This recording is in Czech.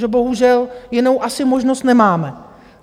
Že bohužel jinou asi možnost nemáme.